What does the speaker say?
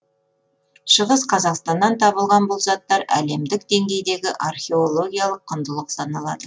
шығыс қазақстаннан табылған бұл заттар әлемдік деңгейдегі археологиялық құндылық саналады